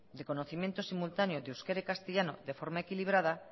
de conocimiento simultáneo de euskera y castellano de forma equilibrada